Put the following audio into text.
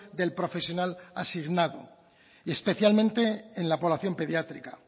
del profesional asignado especialmente en la población pediátrica